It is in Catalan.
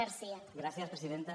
gràcies presidenta